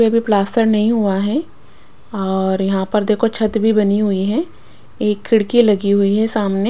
plaster नहीं हुआ है और यहाँ पर देखो छत भी बनी हुई है एक खिड़की लगी हुई है सामने --